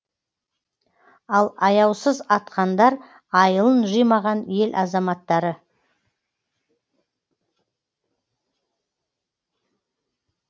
ал аяусыз атқандар айылын жимаған ел азаматтары